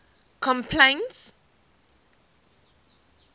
complaints